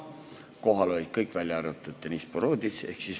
Kohal olid kõik, välja arvatud Deniss Boroditš.